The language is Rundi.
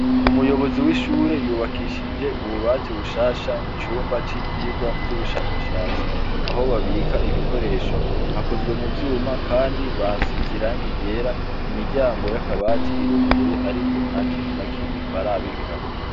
Umuyobozi w'ishure yubakishije ububati bushasha mu cumba c'ivyigwa vy'ubushakashatsi aho babika ibikoresho, hakozwe mu vyuma, kandi bahasize irangi ryera, imiryango y'akabati iruguruye ariko nta kintu na kimwe barabikamwo.